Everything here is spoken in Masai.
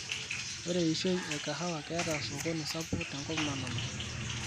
Ore eishoi e kahawa ketaa osokoni sapuk tenkop nalulunga.